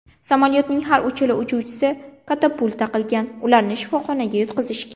Samolyotning har ikkala uchuvchisi katapulta qilgan, ularni shifoxonaga yotqizishgan.